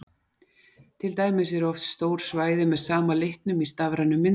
Til dæmis eru oft stór svæði með sama litnum í stafrænum myndum.